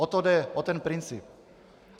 O to jde, o ten princip.